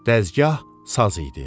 Dəzgah saz idi.